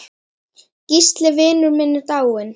Gísli vinur minn er dáinn.